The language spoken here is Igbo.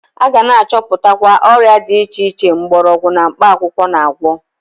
A ga na-achọputwanye ọrịa dị iche iche mgbọrọgwu na mkpakwụkwọ na-agwọ.